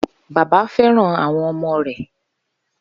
Baba fẹràn awọn ọmọ rẹ